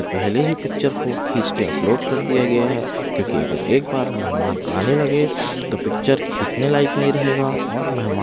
पहले ही पिक्चर खींच के अपलोड कर दिया गया है क्योंकि अगर एक बार मेहमान आने लगे तो पिक्चर खींचने लायक नहीं रहेगा और मेहमान--